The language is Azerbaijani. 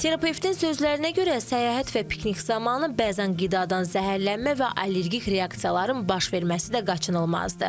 Terapevtin sözlərinə görə, səyahət və piknik zamanı bəzən qidadan zəhərlənmə və allergik reaksiyaların baş verməsi də qaçılmazdır.